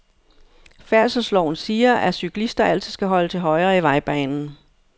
Færdselsloven siger, at cyklister altid skal holde til højre i vejbanen.